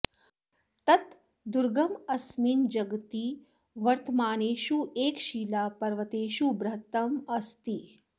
तत् दुर्गं अस्मिन् जगति वर्तमानेषु एकशिलापर्वतेषु बृहत्तमम् अस्ति